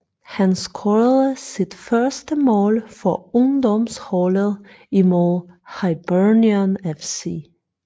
Han scorede sit første mål for ungdomsholdet imod Hibernian FC